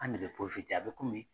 An de bɛ a bɛ komi